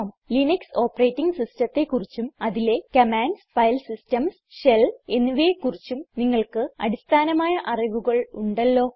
Linux operating സിസ്റ്റത്തെ കുറിച്ചും അതിലെ കമാൻഡ്സ് ഫൈൽ സിസ്റ്റംസ് ഷെൽ എന്നിവയെ കുറിച്ചും നിങ്ങൾക്ക് അടിസ്ഥാനമായ അറിവുകൾ ഉണ്ടല്ലോ